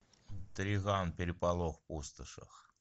триган переполох в пустошах